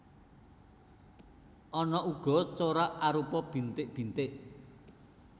Ana uga corak arupa bintik bintik